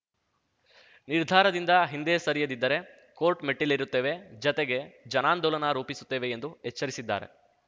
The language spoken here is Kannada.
ನಿರ್ಧಾರದಿಂದ ಹಿಂದೆ ಸರಿಯದಿದ್ದರೆ ಕೋರ್ಟ್‌ ಮೆಟ್ಟಿಲೇರುತ್ತೇವೆ ಜತೆಗೆ ಜನಾಂದೋಲನ ರೂಪಿಸುತ್ತೇವೆ ಎಂದು ಎಚ್ಚರಿಸಿದ್ದಾರೆ